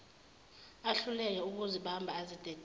ahluleke ukuzibamba azidedele